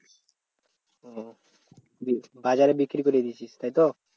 ও বাজারে বিক্রি করে দিয়েছিস তাইতো?